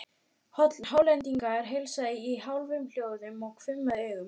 Hollendingurinn heilsaði í hálfum hljóðum og hvimaði augum.